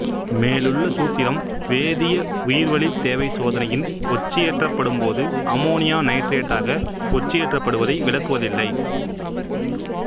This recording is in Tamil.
மேலுள்ள சூத்திரம் வேதிய உயிர்வளித் தேவை சோதனையின் ஒட்சியேற்றப்படும்போது அம்மோனியா நைட்ரேடாக ஒட்சியேற்றப்படுவதை விளக்குவதில்லை